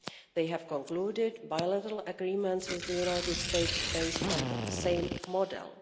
They have concluded bilateral agreements with the United States based on the same model.